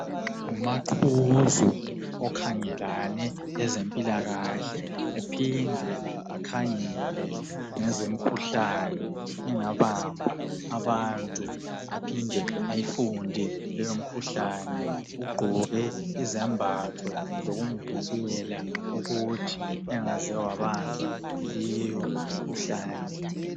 Ngumaqhuzu okhangelane lezempilakahle ephinde akhangele ngezemikhuhlane engabamba abantu baphinde ayifunde leyo mikhuhlane ugqoke izembatho zokumvikela ukuthi engaze wabanjwa yileyo mikhuhlane.